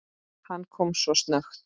Hann kom svo snöggt.